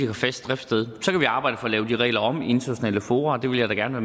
har fast driftssted så kan vi arbejde for at lave de regler om i internationale fora og det vil jeg da gerne